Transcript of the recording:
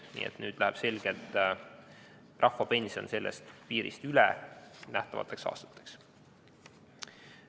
Nii et nüüd läheb selgelt rahvapension sellest piirist üle nähtavateks aastateks.